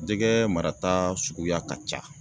Jɛgɛ marata suguya ka ca.